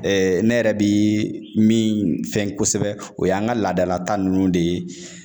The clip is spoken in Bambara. Ɛɛ ne yɛrɛ bi min fɛn kosɛbɛ o y'an ka laadala ta nunnu de ye